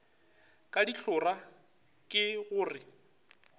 ka dihlora ke go re